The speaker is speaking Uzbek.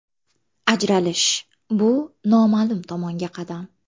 Ajralish – bu noma’lum tomonga qadam.